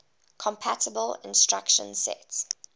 compatible instruction set